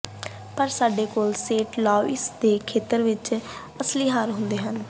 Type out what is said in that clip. ਪਰ ਸਾਡੇ ਕੋਲ ਸੇਂਟ ਲੁਈਸ ਦੇ ਖੇਤਰ ਵਿੱਚ ਕਈ ਅਸਲੀ ਹਾਰ ਹੁੰਦੇ ਹਨ